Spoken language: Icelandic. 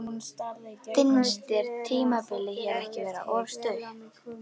Finnst þér tímabilið hér ekki vera of stutt?